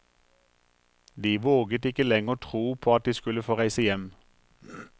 De våget ikke lenger tro på at de skulle få reise hjem.